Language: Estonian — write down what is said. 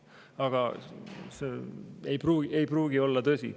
Aga see ei pruugi olla tõsi.